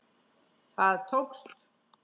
Það tókst.